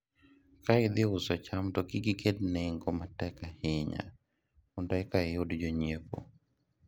ka idhi uso cham to kik iket nengo matek ahinya mondo eka iyud jonyiepo